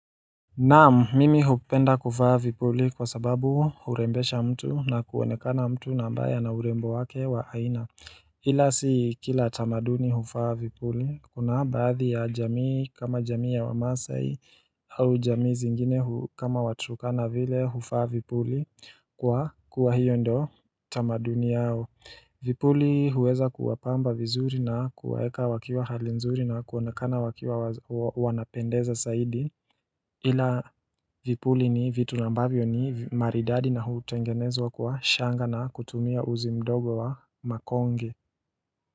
Naam, mimi hupenda kufaa vipuli kwa sababu hurembesha mtu na kuonekana mtu ambaye ana urembo wake wa aina. Ila si kila tamaduni huvaa vipuli, kuna baadhi ya jamii kama jamii ya wa maasai au jamii zingine kama waturkana vile huvaa vipuli kwa kuwa hiyo ndio tamaduni yao. Vipuli huweza kuwapamba vizuri na kuwaeka wakiwa hali nzuri na kuonekana wakiwa wanapendeza zaidi. Ila vipuli ni vitu ambavyo ni maridadi na hutengenezwa kwa shanga na kutumia uzi mdogo wa makonge.